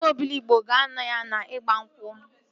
Ụmụ Obiligbo ga-anọ ya n'igba nkwụ m